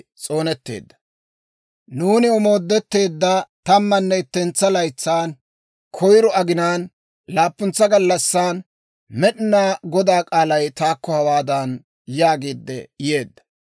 Nuuni omooddetteedda tammanne ittentsa laytsan, koyiro aginaan, laappuntsa gallassan, Med'inaa Godaa k'aalay taakko hawaadan yaagiidde yeedda;